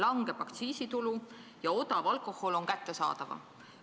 Aga esialgu aktsiisitulu väheneb ja odav alkohol on kättesaadavam.